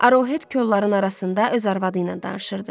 Arohet kolların arasında öz arvadı ilə danışırdı.